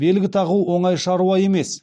белгі тағу оңай шаруа емес